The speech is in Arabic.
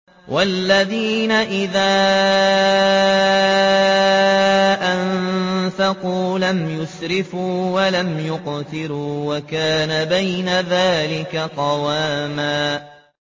وَالَّذِينَ إِذَا أَنفَقُوا لَمْ يُسْرِفُوا وَلَمْ يَقْتُرُوا وَكَانَ بَيْنَ ذَٰلِكَ قَوَامًا